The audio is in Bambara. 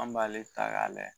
An b'ale ta k'a lajɛ.